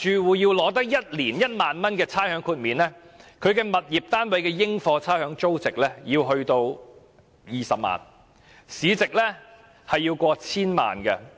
如要取得1年1萬元的差餉豁免額，物業單位的應課差餉租值要達到20萬元，物業市值要過千萬元。